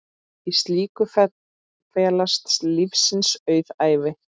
Í slíku felast lífsins auðæfi.